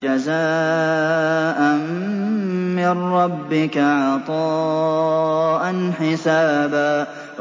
جَزَاءً مِّن رَّبِّكَ عَطَاءً حِسَابًا